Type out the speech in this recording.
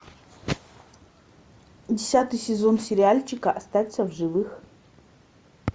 десятый сезон сериальчика остаться в живых